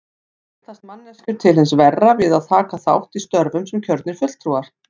Breytast manneskjur til hins verra við að taka þátt í störfum sem kjörnir fulltrúar?